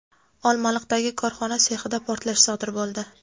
Olmaliqdagi korxona sexida portlash sodir bo‘ldi.